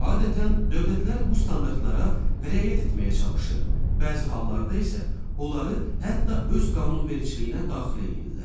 Adətən, dövlətlər bu standartlara riayət etməyə çalışır, bəzi hallarda isə onları hətta öz qanunvericiliyinə daxil eləyirlər.